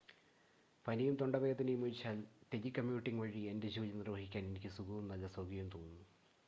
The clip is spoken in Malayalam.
പനിയും തൊണ്ടവേദനയും ഒഴിച്ചാൽ, ടെലികമ്യൂട്ടിംഗ് വഴി എന്റെ ജോലി നിർവഹിക്കാൻ എനിക്ക് സുഖവും നല്ല സൗഖ്യവും തോന്നുന്നു